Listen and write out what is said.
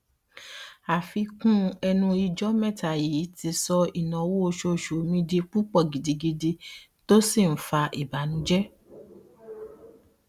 àfikún ẹnu ijọ mẹta yii ti sọ ináwó oṣooṣu mi di púpọ gidigidi tó si n fa ìbànújẹ